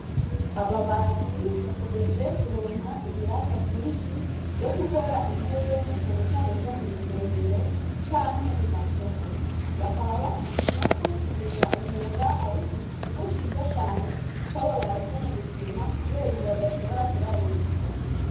Ababaji bakomeje kuronka ibiraka vyinshi vyo gukora intebe na cane cane zo mu rusengero canke mu masoko. Bakaba bashima ko kumenya umwuga ari ikintu kimwe ciza cane cababayeko mu buzima kubera ubu badashobora kurara ubusa.